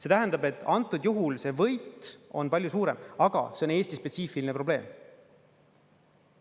See tähendab, et antud juhul see võit on palju suurem, aga see on Eesti spetsiifiline probleem.